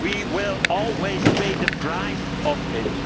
We will always pay the price